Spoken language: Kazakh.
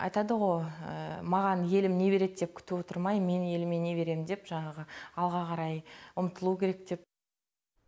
айтадығо маған елім не береді деп күтіп отырмай мен еліме не беремін деп жаңағы алға қарай ұмтылу керек деп